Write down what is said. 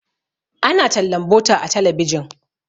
ana tallan butter a talabijin